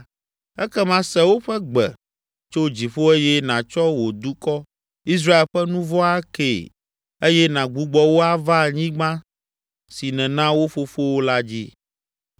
ekema se woƒe gbe tso dziƒo eye nàtsɔ wò dukɔ, Israel ƒe nu vɔ̃ akee eye nàgbugbɔ wo ava anyigba si nèna wo fofowo la dzi.